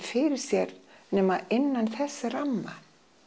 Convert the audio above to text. fyrir sér nema innan þessa ramma